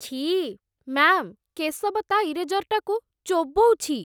ଛିଃ! ମ୍ୟା'ମ୍, କେଶବ ତା' ଇରେଜରଟାକୁ ଚୋବଉଛି ।